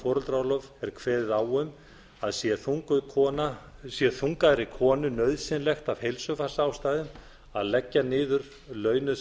foreldraorlof er kveðið á um að sé þungaðri konu nauðsynlegt af heilsufarsástæðum að leggja niður launuð